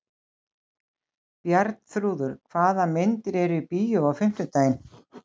Bjarnþrúður, hvaða myndir eru í bíó á fimmtudaginn?